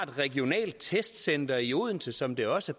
regionalt testcenter i odense som det også